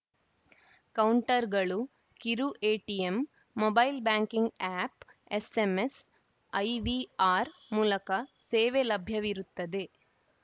ಕೌಂಟರ್‌ಗಳು ಕಿರು ATM mobile banking app SMS IVR ಮೂಲಕ ಸೇವೆ ಲಭ್ಯವಿರುತ್ತದೆ